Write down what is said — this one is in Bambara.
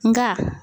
Nka